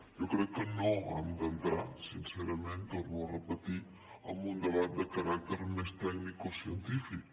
jo crec que no han d’entrar sincerament ho torno a repetir en un debat de caràcter més tecnicocientífic